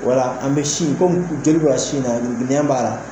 Wala an bɛ sin komi joli bɛ sin na nɛn b'a la